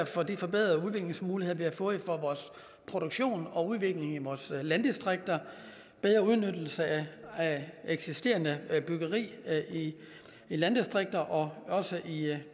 for de forbedrede udviklingsmuligheder vi har fået for vores produktion og udvikling i vores landdistrikter bedre udnyttelse af eksisterende byggeri i landdistrikterne og også i